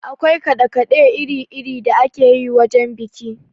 Akwai kaɗe kaɗe iri iri da akeyi wajen biki.